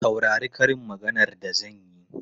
Saurari karin maganar da zan yi!